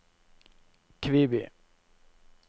Kviby